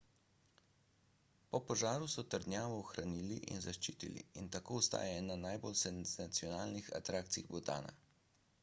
po požaru so trdnjavo ohranili in zaščitili in tako ostaja ena najbolj senzacionalnih atrakcij butana